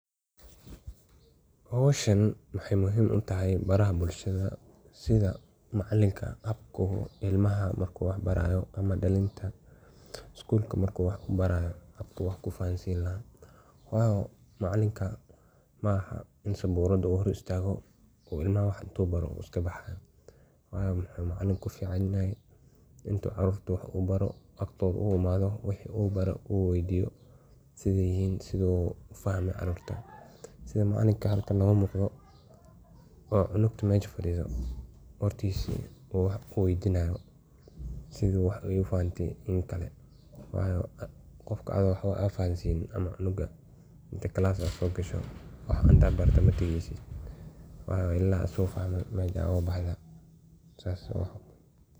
Howshaan waxey muhiim uu tahay baraaha bulshaada sidaa macaalinka habkaa uu ilmaaha markuu wax baraayo ama dhaalinta iskuulka marku wax kuu baraayo habkuu wax kuu fahaan siin lahaa waayo macalinka maaha iin sabuurada hoor istaago uu ilmaaha wax intuu baaro uu iskaa baxaayo waayo muxu macaliinka kuu fican yahay intaa carurta wax uu baaro agtooda uu imadoo waxa uu baare uu weydiiyo sidee yihiin sidee uu fahmii aragta. sidaa macaliinka halkaan noga muqdo oo cunugta meshaa fadhido agtisii uu wax uu weydiinayo sidee ee wax fahante iyo inkaale waayo qofka aa waxba fahansiniin ama cunuga intaa class aa sogaasho wax intaa barto mataageysid waayo ila asago fahme mesha oga baxda sas ookale.